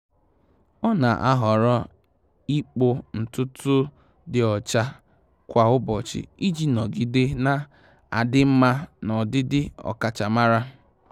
Ọ́ nà-àhọ́rọ́ ị́kpụ́ ntùtù dị ọ́chá kwa ụ́bọ̀chị̀ iji nọgide nà-ádị́ mma na ọdịdị ọ́kàchàmàrà.